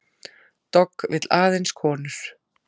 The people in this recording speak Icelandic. Dogg vill aðeins konur